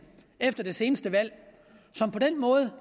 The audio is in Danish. efter det seneste valg som på den måde